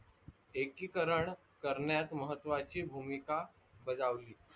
एकीकरण करण्यात महत्वाची भूमिका बजावली.